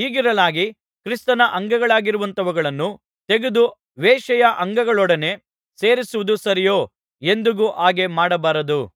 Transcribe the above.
ಹೀಗಿರಲಾಗಿ ಕ್ರಿಸ್ತನ ಅಂಗಗಳಾಗಿರುವಂಥವುಗಳನ್ನು ತೆಗೆದು ವೇಶ್ಯೆಯ ಅಂಗಗಳೊಡನೆ ಸೇರಿಸುವುದು ಸರಿಯೋ ಎಂದಿಗೂ ಹಾಗೆ ಮಾಡಬಾರದು